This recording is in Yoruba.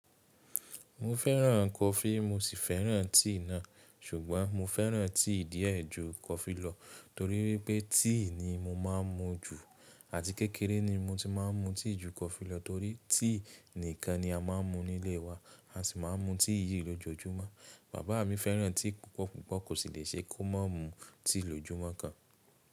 Mo fẹ́ràn coffee mo sì fẹ́ràn tea náà, ṣùgbọ́n mo fẹ́ràn tea díẹ̀ ẹ́ ju coffee lọ torí pé tea ni mo máà ń mu jù àti kékeré ni mo ti máà ń mu tea ju coffee lọ torí tea nìkan ni a máà ń mu nílé wa a sì máà ń mu tea yìí lójoojúmọ́. Bàbá mi fẹ́ràn tea púpọ̀ púpọ̀ kò sì le ṣe kó má mú tea lójúmọ́ kan.